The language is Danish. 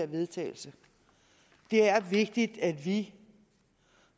vedtagelse det er vigtigt at vi